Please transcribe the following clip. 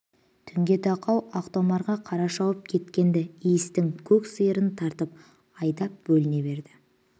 түнге тақау ақтомарға қарай шауып кеткен-ді иістің көк сиырын тартып айдап бөліне берді